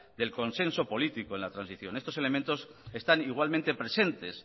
del consenso político en la transición estos elementos están igualmente presentes